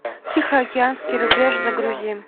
тихоокеанский рубеж загрузи